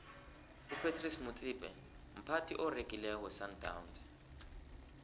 upratice motsipe mphathi oregileko wesandawnsi